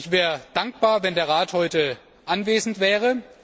Ich wäre dankbar, wenn der Rat heute anwesend wäre.